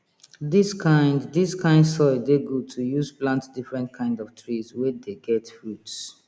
dis kind dis kind soil dey good to use plant different kind of trees wey dey get fruits